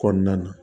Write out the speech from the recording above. Kɔnɔna na